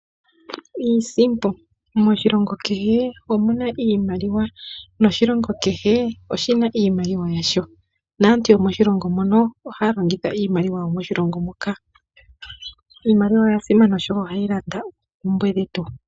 Iisimpo, moshilongo kehe omuna iimaliwa. Noshilongo kehe oshina iimaliwa yasho. Naantu yomoshilongo mono ohaya longitha iimaliwa yomoshilongo moka. Iimaliwa oya simana oshoka ohayi landa oompumbwe dhetu